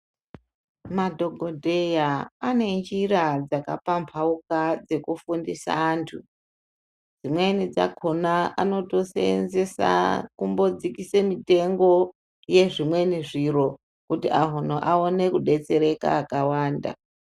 Madhogodheya anenjira dzakapambauka dzekufundisa antu. Dzmweni dzakona anotoseenzesa kumbodzikise mitengo yezvimweni zviro, kuti anhu aone kudetsereka akawanda.